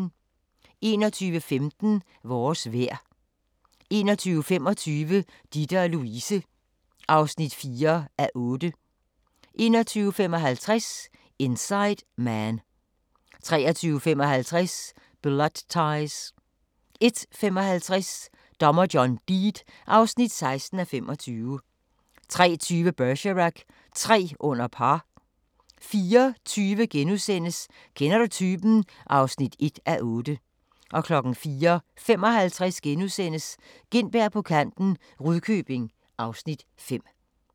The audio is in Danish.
21:15: Vores vejr 21:25: Ditte & Louise (4:8) 21:55: Inside Man 23:55: Blood Ties 01:55: Dommer John Deed (16:25) 03:20: Bergerac: Tre under par 04:20: Kender du typen? (1:8)* 04:55: Gintberg på kanten - Rudkøbing (Afs. 5)*